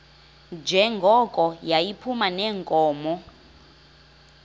njengoko yayiphuma neenkomo